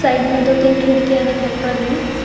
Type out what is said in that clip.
Side में दो तीन खिड़कियां दिखाई पड़ रही है।